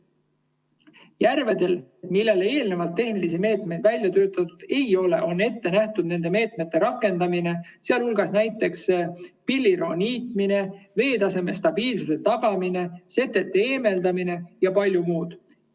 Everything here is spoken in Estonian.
Järvedel, millele eelnevalt tehnilisi meetmeid välja töötatud ei ole, on ette nähtud nende meetmete rakendamine, sealhulgas näiteks pilliroo niitmine, veetaseme stabiilsuse tagamine, setete eemaldamine ja palju muud.